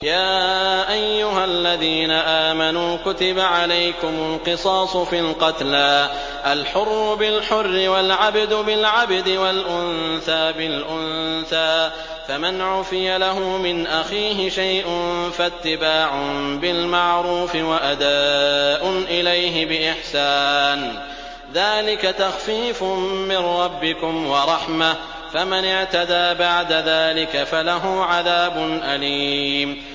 يَا أَيُّهَا الَّذِينَ آمَنُوا كُتِبَ عَلَيْكُمُ الْقِصَاصُ فِي الْقَتْلَى ۖ الْحُرُّ بِالْحُرِّ وَالْعَبْدُ بِالْعَبْدِ وَالْأُنثَىٰ بِالْأُنثَىٰ ۚ فَمَنْ عُفِيَ لَهُ مِنْ أَخِيهِ شَيْءٌ فَاتِّبَاعٌ بِالْمَعْرُوفِ وَأَدَاءٌ إِلَيْهِ بِإِحْسَانٍ ۗ ذَٰلِكَ تَخْفِيفٌ مِّن رَّبِّكُمْ وَرَحْمَةٌ ۗ فَمَنِ اعْتَدَىٰ بَعْدَ ذَٰلِكَ فَلَهُ عَذَابٌ أَلِيمٌ